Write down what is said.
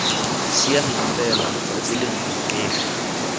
siameng fela tsatsi lengwe nkefi